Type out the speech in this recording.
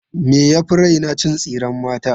Me ya fi raina? Cin tsiren mata.